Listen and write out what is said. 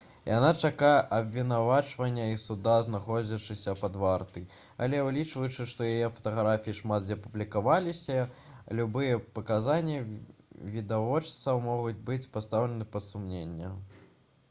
яна чакае абвінавачвання і суда знаходзячыся пад вартай але улічваючы што яе фатаграфіі шмат дзе публікаваліся любыя паказанні відавочцаў могуць быць пастаўлены пад сумненне